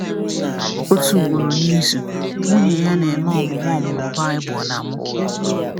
Otu ugboro n’izu, nwunye ya na-eme ọmụmụ ọmụmụ Baịbụl na mụ.